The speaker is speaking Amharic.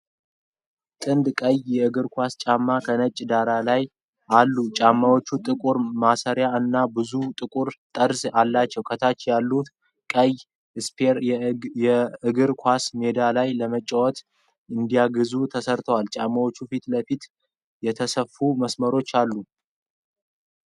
ጥንድ ቀይ የእግር ኳስ ጫማዎች ከነጭ ዳራ አሉ። ጫማዎቹ ጥቁር ማሰሪያዎችና በዙሪያው ጥቁር ጠርዝ አላቸው። ከታች ያሉት ቀይ ስፒን የእግር ኳስ ሜዳ ላይ ለመያዝ እንዲያግዝ ተሰርቷል። የጫማዎቹ ፊት ለፊት የተሰፉ መስመሮች አሉት።